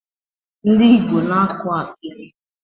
Ndị Igbo na-akọ akịdị.